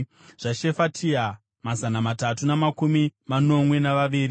zvaShefatia, mazana matatu namakumi manomwe navaviri;